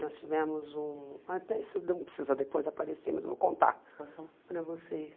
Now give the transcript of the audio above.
Nós tivemos um ah... Isso não precisa depois aparecer, mas vou contar para vocês.